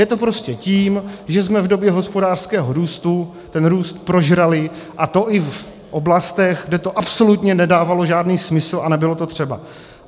Je to prostě tím, že jsme v době hospodářského růstu ten růst prožrali, a to i v oblastech, kde to absolutně nedávalo žádný smysl a nebylo to třeba.